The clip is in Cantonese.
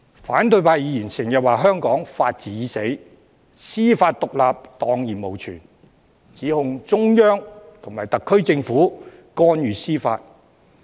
反對派議員經常說香港法治已死，司法獨立蕩然無存，指控中央和特區政府干預司法。